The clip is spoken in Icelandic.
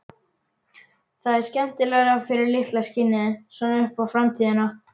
Það er skemmtilegra fyrir litla skinnið, svona upp á framtíðina.